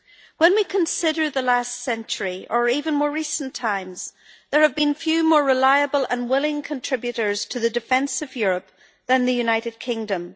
When we consider the last century or even more recent times, there have been few more reliable and willing contributors to the defence of Europe than the United Kingdom.